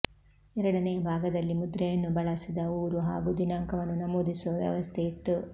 ಎರಡನೆಯ ಭಾಗದಲ್ಲಿ ಮುದ್ರೆಯನ್ನು ಬಳಸಿದ ಊರು ಹಾಗೂ ದಿನಾಂಕವನ್ನು ನಮೂದಿಸುವ ವ್ಯವಸ್ಥೆ ಇತ್ತು